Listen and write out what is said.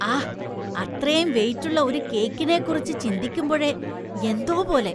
ആഹ്, അത്രേം വെയിറ്റ് ഉള്ള ഒരു കേക്കിനെക്കുറിച്ചു ചിന്തിക്കുമ്പോഴേ എന്തോ പോലെ.